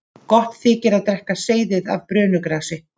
Gott þykir að drekka seyðið af brönugrasi.